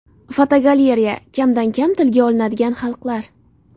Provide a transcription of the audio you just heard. Fotogalereya: Kamdan kam tilga olinadigan xalqlar.